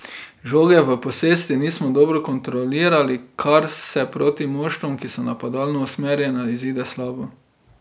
Žoge v posesti nismo dobro kontrolirali, kar se proti moštvom, ki so napadalno usmerjena, izide slabo.